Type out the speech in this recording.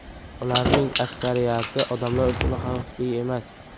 Ularning aksariyati odamlar uchun xavfli emas.